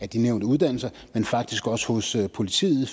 de nævnte uddannelser men faktisk også hos politiet